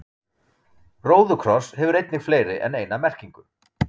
róðukross hefur einnig fleiri en eina merkingu